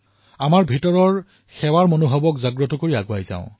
অন্তৰ্ভাগৰ আনন্দক সেৱা ভাবলৈ প্ৰকট কৰি আগবাঢ়ো